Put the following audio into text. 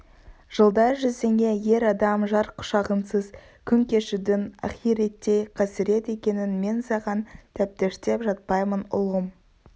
жылдар жүзіне ер адам жар құшағынсыз күн кешудің ахиреттей қасірет екенін мен саған тәптіштеп жатпаймын ұлым